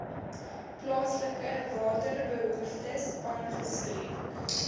plaaslike waterbehoeftes aangespreek